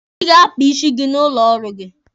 Ị ga-akpa isi gị n'ụlọ ọrụ gị